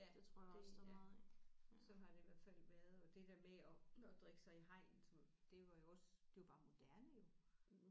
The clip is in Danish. Ja det ja sådan har det i hvert fald været og det der med at at drikke sig i hegnet som det var jo også det var bare moderne jo